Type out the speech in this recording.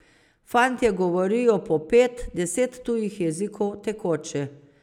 Fantje govorijo po pet , deset tujih jezikov, tekoče.